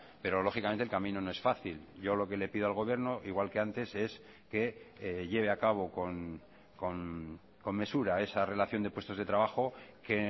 pero lógicamente el camino no es fácil yo lo que le pido al gobierno igual que antes es que lleve a cabo con mesura esa relación de puestos de trabajo que